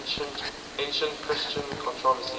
ancient christian controversies